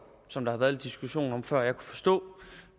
som der har været lidt diskussion om før jeg forstå